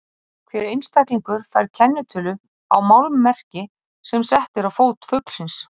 Hver einstaklingur fær kennitölu á málmmerki sem sett er á fót fuglsins.